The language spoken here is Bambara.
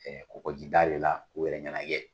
Kɔkɔ ji da re la k'u yɛrɛ ɲɛnajɛ